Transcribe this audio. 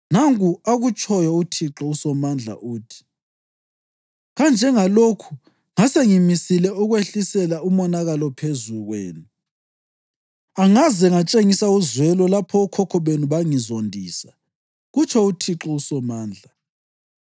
Nanku akutshoyo uThixo uSomandla, uthi: “Kanjengalokhu ngasengimisile ukwehlisela umonakalo phezu kwenu angaze ngatshengisa uzwelo lapho okhokho benu bangizondisa,” kutsho uThixo uSomandla,